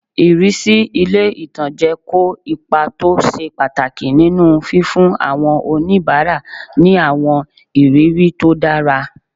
Ìrísí ilé-ìtánjẹ kó ipa tó ṣe pàtàkì nínu fífún àwọn oníbàárà ní àwọn ìrírí tó dára